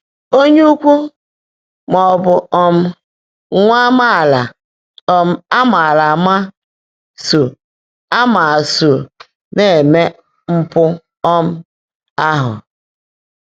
“Ónyé ụ́kwúú,” má ọ́ bụ́ um nwá ámaálá um á màárá ámaá só ámaá só ná-èmé mpụ́ um áhụ́.